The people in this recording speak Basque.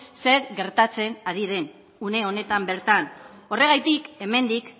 zer gertatzen ari den une honetan bertan horregatik hemendik